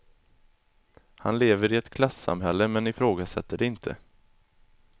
Han lever i ett klassamhälle men ifrågasätter det inte.